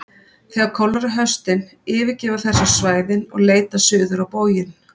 þegar kólnar á haustin yfirgefa þær svo svæðin og leita suður á bóginn